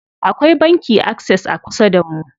Akwai banki Access a kusa damu.